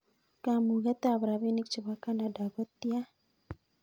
Kamuget ab rapinik chebo Canada kotian